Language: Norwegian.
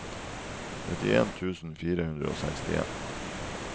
nittien tusen fire hundre og sekstien